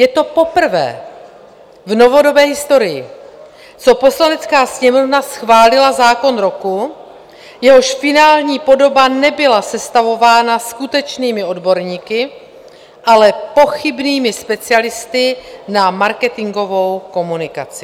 Je to poprvé v novodobé historii, co Poslanecká sněmovna schválila zákon roku, jehož finální podoba nebyla sestavována skutečnými odborníky, ale pochybnými specialisty na marketingovou komunikaci.